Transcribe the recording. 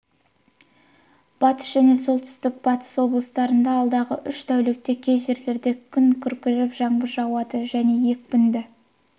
батыс және солтүстік-батыс облыстарында алдағы үш тәулікте кей жерлерде күн күркіреп жаңбыр жауады және екпінді